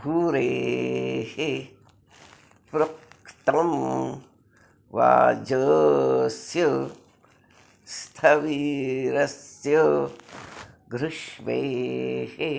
भूरेः॑ पृ॒ङ्क्तं वाज॑स्य॒ स्थवि॑रस्य॒ घृष्वेः॑